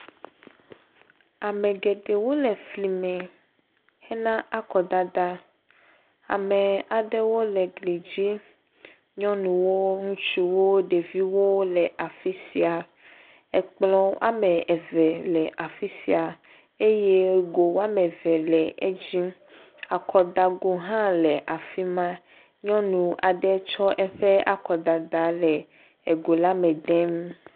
Ame geɖewo le efli me hena akɔdada. Ame aɖewo le gli dzim. Nyɔnuwo, ŋutsuwo. ɖeviwo le afi sia. Ekplɔ ame eve le afi sia eye go ame eve le edzi. Akɔdago hã le afi ma. Nyɔnu aɖe tsɔ eƒe akɔdada le ego la me dem.